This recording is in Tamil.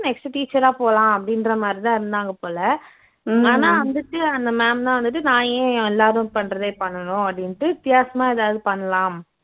next teacher ஆ போகலாம் அப்படின்ற மாதிரிதான் இருந்தாங்க போல ஆனா வந்துட்டு அந்த ma'am தான் வந்துட்டு நான் ஏன் எல்லாரும் பண்ணுறதே பண்ணணும் அப்படின்னுட்டு வித்தியாசமா எதாவது பண்ணலாம்